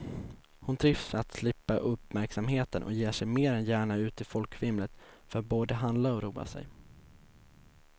Hon trivs med att slippa uppmärksamheten och ger sig mer än gärna ut i folkvimlet för att både handla och roa sig.